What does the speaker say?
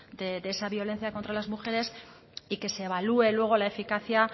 de esa violencia contra las mujeres y que se evalúe luego la eficacia